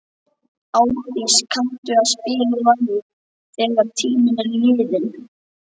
Árdís, kanntu að spila lagið „Þegar tíminn er liðinn“?